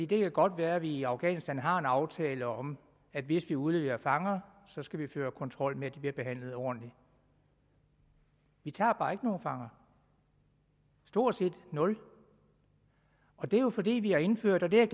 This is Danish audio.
det kan godt være at vi i afghanistan har en aftale om at hvis vi udleverer fanger skal vi føre kontrol med at de bliver behandlet ordentligt vi tager bare ikke nogen fanger stort set nul og det er jo fordi vi har indført og det er